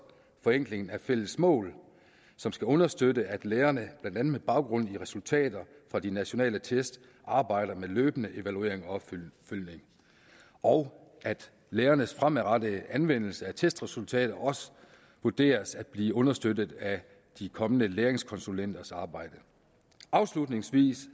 forenklingen af fælles mål understøtte at lærerne blandt andet med baggrund i resultater fra de nationale test arbejder med løbende evaluering og opfølgning og at lærernes fremadrettede anvendelse af testresultater også vurderes at blive understøttet af de kommende læreringskonsulenters arbejde afslutningsvis